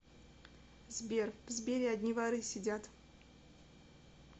сбер в сбере одни воры сидят